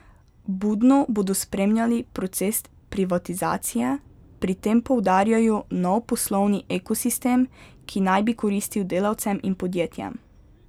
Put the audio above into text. Budno bodo spremljali proces privatizacije, pri tem poudarjajo nov poslovni ekosistem, ki naj bi koristil delavcem in podjetjem.